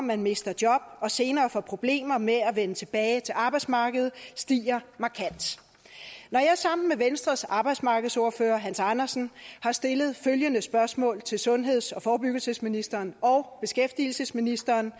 man mister job og senere får problemer med at vende tilbage til arbejdsmarkedet stiger markant jeg har sammen med venstres arbejdsmarkedsordfører hans andersen stillet følgende spørgsmål til sundheds og forebyggelsesministeren og beskæftigelsesministeren